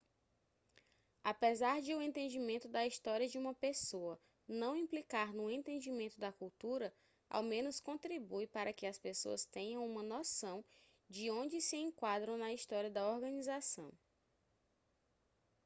apesar de o entendimento da história de uma pessoa não implicar no entendimento da cultura ao menos contribui para que as pessoas tenham uma noção de onde se enquadram na história da organização